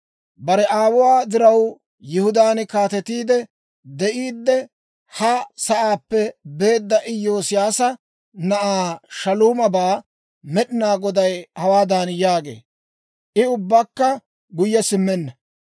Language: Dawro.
Bare aawuwaa diraw Yihudaan kaatetiide de'iiddi, ha sa'aappe beedda Iyoosiyaasa na'aa Shaaluumabaa Med'inaa Goday hawaadan yaagee; «I ubbakka guyye simmenna.